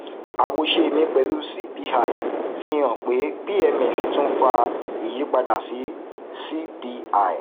àwòṣe mi pẹlú cpi fi hàn pé pms tún fa ìyípadà sí cpi